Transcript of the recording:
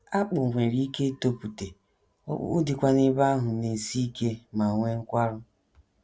Akpụ̀ nwere ike itopụta, ọkpụkpụ dịkwa n’ebe ahụ na - esi ike ma nwee nkwarụ.